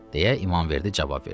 deyə İmamverdi cavab verdi.